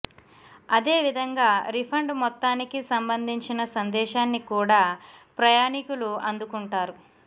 అదే విధంగా రిఫండ్ మొత్తానికి సంబంధించిన సందేశాన్ని కూడా ప్రయాణికులు అందుకుంటారు